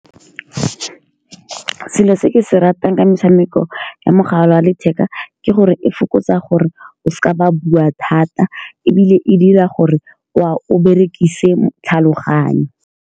Selo se ke se ratang ka metshameko ya mogala wa letheka, ke gore e fokotsa gore o seka wa bua thata. Ebile e dira gore wa, o berekise tlhaloganyo.